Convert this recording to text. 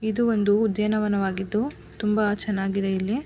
ಇದು ಒಂದು ಉದ್ಯಾನವನವಾಗಿದ್ದು ತುಂಬಾ ಚೆನ್ನಾಗಿದೆ ಇಲ್ಲಿ.